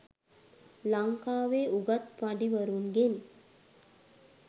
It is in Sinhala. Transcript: ලංකාවේ උගත් පඬිවරුන්ගෙන්